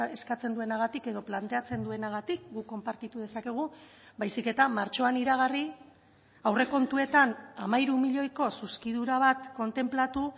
eskatzen duenagatik edo planteatzen duenagatik guk konpartitu dezakegu baizik eta martxoan iragarri aurrekontuetan hamairu milioiko zuzkidura bat kontenplatu